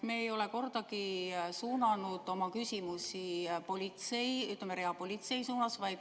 Me ei ole kordagi suunanud oma küsimusi, ütleme, reapolitsei suunas.